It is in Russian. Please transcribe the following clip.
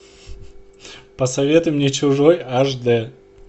посоветуй мне чужой аш дэ